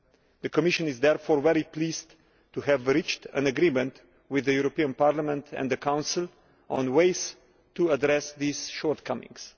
The Commission is therefore very pleased to have reached an agreement with Parliament and the Council on waste to address these shortcomings.